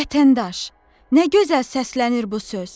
Vətəndaş, nə gözəl səslənir bu söz!